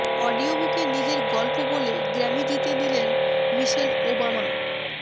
অডিওবুকে নিজের গল্প বলে গ্র্যামি জিতে নিলেন মিশেল ওবামা